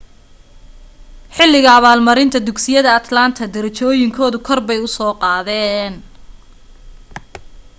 xilliga abaalmarinta dugsiyada atlanta derejooyinkooda korbay u soo qaadeen